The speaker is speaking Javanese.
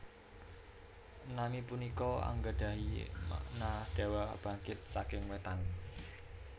Nami punika anggadhahi makna Dewa Bangkit saking Wétan